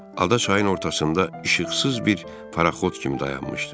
Ada çayın ortasında işıqsız bir paraxod kimi dayanmışdı.